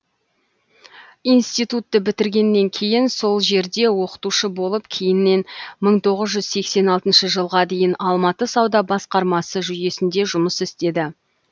институтты бітіргеннен кейін сол жерде оқытушы болып кейіннен мың тоғыз жүз сексен алтыншы жылға дейін алматы сауда басқармасы жүйесінде жұмыс істеді